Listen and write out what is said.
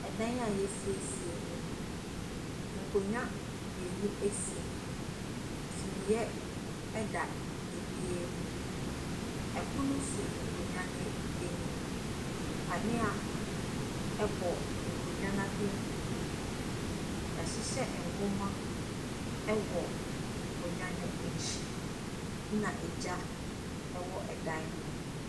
Dan a wɔasiesie mu. Nkonnwa mmienu si mu. Sumiiɛ da ebiara mu. Ɛpono si nkonnwa no anim. Kanea bɔ nkonnwa no apampam. Wɔahyehyɛ nwoma wɔ nkonnwa no akyi. Ɛna egya wɔ ɛdan no mu.